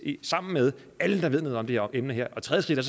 i det sammen alle der ved noget om det her emne og tredje